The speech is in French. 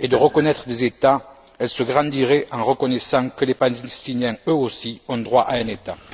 et de reconnaître des États, elle se grandirait en reconnaissant que les Palestiniens, eux aussi, ont droit à un État.